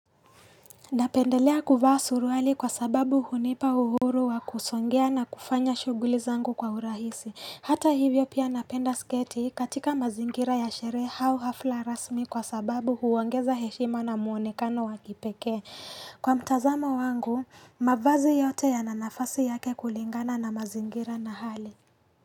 Napendelea kuvaa suruali kwa sababu hunipa uhuru wa kusongea na kufanya shuguli zangu kwa urahisi. Hata hivyo pia napenda sketi katika mazingira ya sherehe au hafla rasmi kwa sababu huongeza heshima na muonekano wa kipekee. Kwa mtazamo wangu, mavazi yote yana nafasi yake kulingana na mazingira na hali.